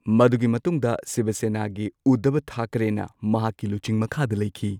ꯃꯗꯨꯒꯤ ꯃꯇꯨꯡꯗ ꯁꯤꯕ ꯁꯦꯅꯥꯒꯤ ꯎꯗ꯭ꯙꯕ ꯊꯥꯀꯔꯦꯅ ꯃꯍꯥꯛꯀꯤ ꯂꯨꯆꯤꯡ ꯃꯈꯥꯗ ꯂꯩꯈꯤ꯫